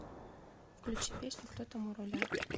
включи песню кто там у руля